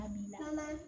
A bi an ka